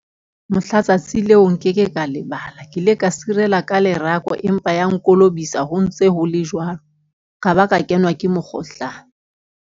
Mohla tsatsi leo nkeke ka lebala ke ile ka sirela ka lerako. Empa ya nkolobisa ho ntse ho le jwalo, ka ba ka kenwa ke mokgohlane.